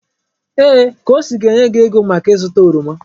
Ee! Kosi ga-enye gị ego maka ịzụta oroma.